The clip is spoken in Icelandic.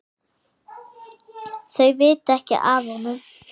Þau vita ekki af honum.